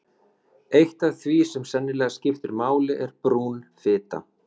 Eitt af því sem sennilega skiptir miklu máli er brún fita.